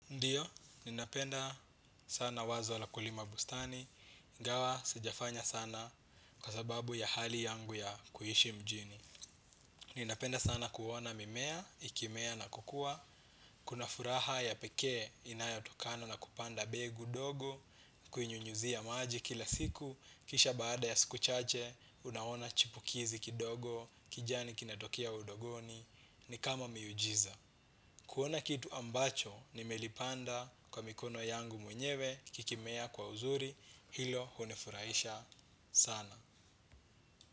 Ndiyo, ninapenda sana wazo la kulima bustani ingawa, sijafanya sana kwa sababu ya hali yangu ya kuishi mjini. Ninapenda sana kuona mimea, ikimea na kukua. Kuna furaha ya pekee inayatokano na kupanda begu dogo. Kuinyunyuzia maji kila siku, kisha baada ya siku chache unaona chipukizi kidogo, kijani kinatokea udongoni. Ni kama miujiza kuona kitu ambacho nimelipanda kwa mikono yangu mwenyewe kikimea kwa uzuri hilo hunifurahisha sana.